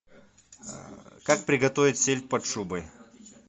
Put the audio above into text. как приготовить сельдь под шубой